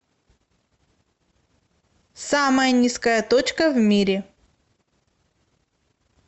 самая низкая точка в мире